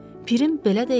Pirim belə deyildir.